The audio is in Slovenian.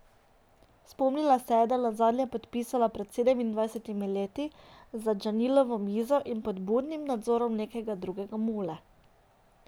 Spomnila se je, da se je nazadnje podpisala pred sedemindvajsetimi leti za Džalilovo mizo in pod budnim nadzorom nekega drugega mule.